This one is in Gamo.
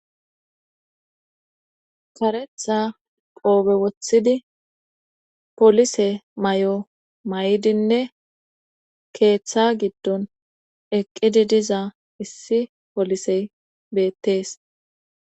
karetha qoobe wothidi polise may7o may7idinne keeththa giddon eqqidi diza issi polisey beettees